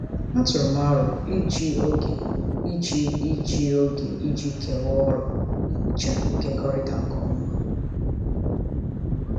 Atụrụ m aro iji oge iji iji oge iji kewaa ọrụ nhicha nkekọrịta nke ọma.